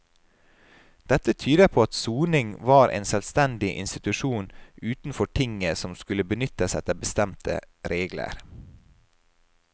Dette tyder på at soning var en selvstendig institusjon utenfor tinget som skulle benyttes etter bestemte regler.